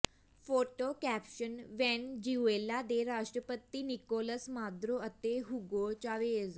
photo caption Venezuela ਦੇ ਰਾਸ਼ਟਰਪਤੀ Nicolas Maduro ਅਤੇ ਹੂਗੋ ਚਾਵੇਜ਼